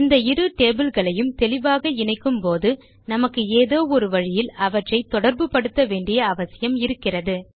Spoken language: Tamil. இந்த இரு டேபிள் களையும் தெளிவாக இணைக்கும் போது நமக்கு ஏதோ ஒரு வழியில் அவற்றை தொடர்பு படுத்த வேண்டிய அவசியம் இருக்கிறது